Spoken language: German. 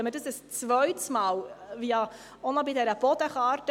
Wenn dies ein zweites Mal, jetzt noch bei der Bodenkarte,